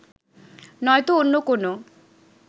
নয়তো অন্য কোনও